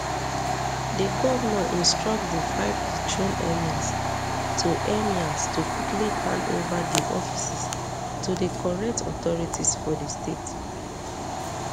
di govnor instruct di five dethroned emirs to emirs to quickly hand ova dia offices to di correct authorities for di state